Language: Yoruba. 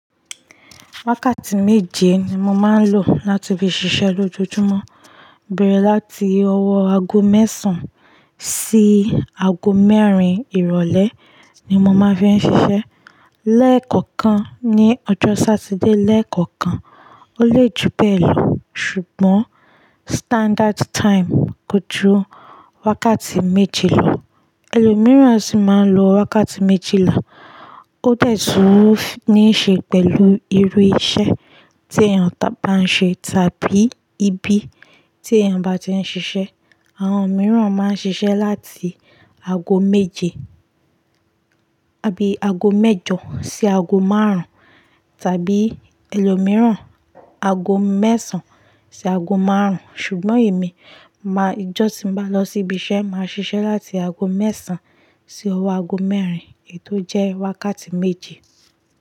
Wákàtí méje ni mo máa ń lò láti fi ṣiṣẹ́ lójoojúmọ́. Bẹ̀rẹ̀ láti ọwọ́ ago mẹ́sàn-án sí ago mẹ́rin ìrọ̀lẹ́ ni mo máa fi ń ṣiṣẹ́. Lẹ́ẹ̀kọ̀kan ní ọjọ́ Satide lẹ́ẹ̀kọ̀kan, ó lè ju bẹ́ẹ̀ lọ. Ṣùgbọ́n standard time kojú wákàtí méje lọ. Ẹlòmíràn sì máa ń lo wákàtí méjìlá, ó de tun ní ṣe pẹ̀lú irú iṣẹ́ tí èèyàn bá ń ṣe tàbí ibi tí èèyàn bá ti ń ṣiṣẹ́. Àwọn mìíràn máa ń ṣiṣẹ́ láti ago méje abí ago mẹ́jọ sí ago márùn-ún, tàbí ẹlòmíràn ago mẹ́sàn-án sí ago márùn-ún. Ṣùgbọ́n èmi máa-- ijọ́ tí mo bá lọ síbi iṣẹ́, màá ṣiṣẹ́ láti ago mẹ́sàn-án sí ọwọ́ ago mẹ́rin, ètò jẹ wákàtí méje.